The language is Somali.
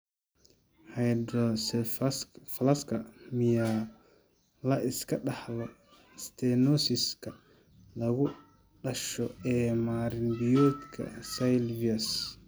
Hydrocephalaska miyaa la iska dhaxlo stenosis-ka lagu dhasho ee marin-biyoodka sylvius?